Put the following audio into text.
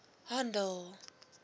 handel